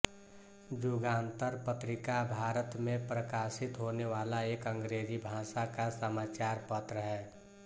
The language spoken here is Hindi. जुगांतर पत्रीका भारत मे प्रकाशित होने वाला एक अंग्रेजी भाषा का समाचार पत्र है